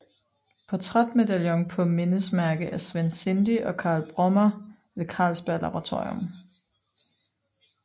Portrætmedaljon på mindesmærke af Svend Sinding og Carl Brummer ved Carlsberg Laboratorium